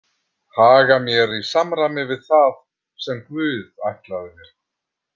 Haga mér í samræmi við það sem Guð ætlaði mér.